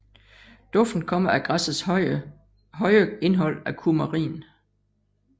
Duften kommer af græssets høje indhold af kumarin